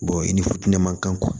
i ni fuinɛ man kan